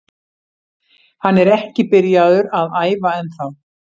Hann er ekki byrjaður að æfa ennþá.